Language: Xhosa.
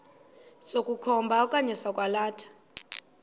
sokukhomba okanye sokwalatha